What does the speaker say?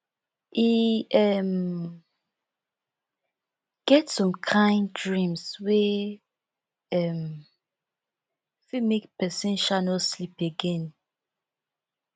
e um get some kain dreams wey um fit make pesin um no sleep again